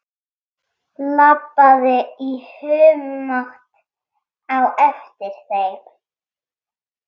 Labbaði í humátt á eftir þeim.